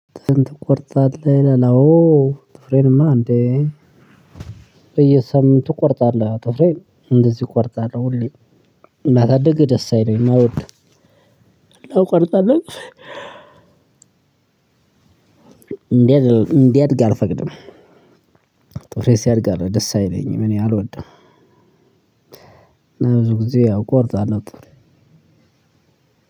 ጥፍርህን ትቆርጠለህ ይለል? አዎ። ትፍሬንማ እንዴ? በየሳምንቱ ቆርጠለሁ ትፍሬን እንደዚህ ቆርጠለሁ። ሁሌ መሰደግ ደስ አይለኝም አሎድም ቆርጠለሁ። ጥፍሬን እንዲያድግ አልፈቅድም። ጥፍሬ ሲያድ ደስ አይለኝም እኔ አልወድም። ብዙ ጊዜ ያው ቆርጣለሁ ጥፍሬ።